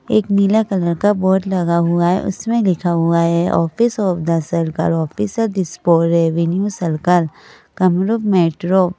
एक नीला कलर का बोर्ड लगा हुआ है उसमें लिखा हुआ है ऑफ़िस ऑफ़ द सरकार ऑफिसर दिस फॉर रेवेन्यू सरकार ।